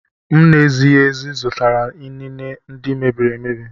M na-ezighị ezi zụtara inine ndị mebiri emebi.